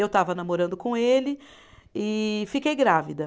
Eu estava namorando com ele e fiquei grávida.